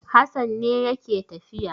Hassan ne yake tafiya.